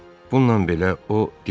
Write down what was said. Bununla belə o dillənmədi.